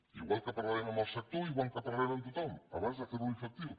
i igual que parlarem amb el sector igual que parlarem amb tothom abans de fer ho efectiu